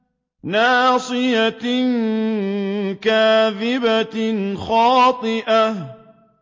نَاصِيَةٍ كَاذِبَةٍ خَاطِئَةٍ